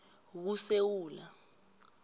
kusewula